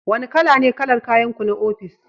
Wane kala ne kalar kayanku na ofis?